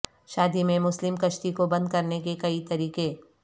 شادی میں مسلم کشتی کو بند کرنے کے کئی طریقے